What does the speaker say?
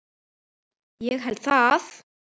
Ég held það?